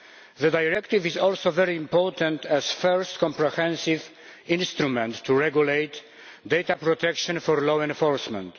The directive is also very important as the first comprehensive instrument to regulate data protection for law enforcement.